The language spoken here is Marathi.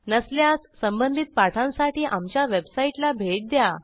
नसल्यास संबंधित पाठांसाठी आमच्या वेबसाईटला भेट द्या